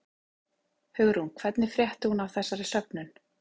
Hugrún: Hvernig frétti hún af þessari söfnun?